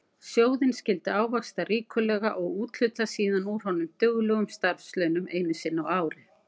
Sjóðinn skyldi ávaxta ríkulega og úthluta síðan úr honum duglegum starfslaunum einu sinni á ári.